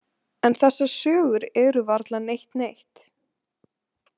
En þessar sögur eru varla neitt neitt.